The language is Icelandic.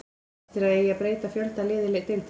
Finnst þér að eigi að breyta fjölda liða í deildinni?